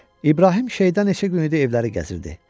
İbrahim şeytan neçə günü idi evləri gəzirdi.